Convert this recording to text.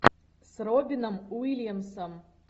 с робином уильямсом